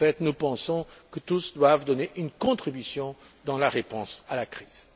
En fait, nous pensons que tous doivent donner une contribution dans la réponse à la crise.